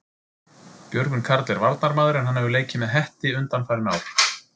Björgvin Karl er varnarmaður en hann hefur leikið með Hetti undanfarin ár.